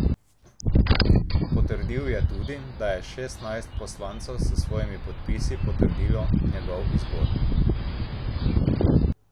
Potrdil je tudi, da je šestnajst poslancev s svojimi podpisi potrdilo njegov izbor.